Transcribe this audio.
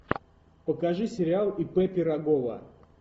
покажи сериал ип пирогова